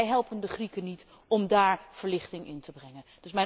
En wij helpen de Grieken niet om daar verlichting in te brengen.